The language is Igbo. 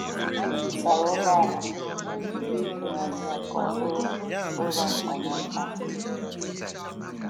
Anyị zụtara ụgbọ ala na-ezube ịtụgharị ya ka ọ bụrụ ụlọ mkpanaka.